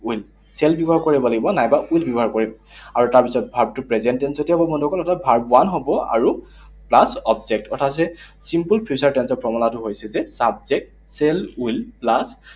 Will, shall ব্যৱহাৰ কৰিব লাগিব, নাইবা will ব্যৱহাৰ কৰিম। আৰু তাৰপিছত verb টো present tense তে হব বন্ধুসকল। Verb one হব আৰু plus object, অৰ্থাৎ হৈছে simple future tense ৰ formula টো হৈছে যে, subject, shall will plus